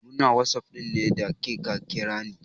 Muna ta whatsapping ne da kika kira ni.